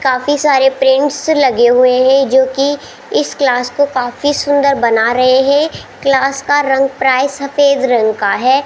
काफी सारे प्रिंट्स लगे हुए हैं जो कि इस क्लास को काफी सुंदर बना रहे हैं क्लास का रंग सफेद रंग का है।